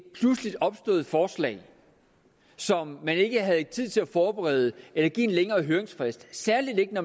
pludseligt opstået forslag som man ikke havde tid til at forberede eller give en længere høringsfrist særlig ikke